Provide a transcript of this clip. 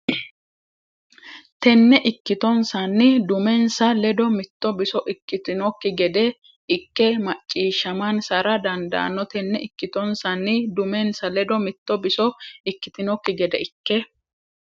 Tenne ikkitonsanni dumensa ledo mitto biso ikkitinokki gede ikke macciishshamansara dandaanno Tenne ikkitonsanni dumensa ledo mitto biso ikkitinokki gede ikke.